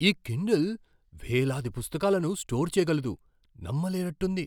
ఈ కిండిల్ వేలాది పుస్తకాలను స్టోర్ చేయగలదు. నమ్మలేనట్టుంది!